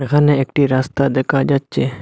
এখানে একটি রাস্তা দেখা যাচ্ছে।